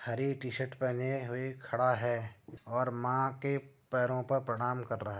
हरी T-shirt पहने हुए खड़ा है और माँ के पैरों पर प्रणाम कर रहा है।